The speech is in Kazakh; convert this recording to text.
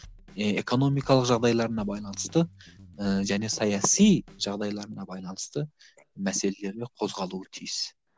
экономикалық жағдайларына байланысты ііі және саяси жағдайларына байланысты мәселелері қозғалуы тиіс